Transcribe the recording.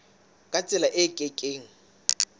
ka tsela e ke keng